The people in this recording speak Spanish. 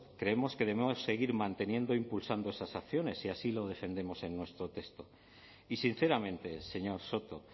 creemos que debemos seguir manteniendo e impulsando esas acciones y así lo defendemos en nuestro texto y sinceramente señor soto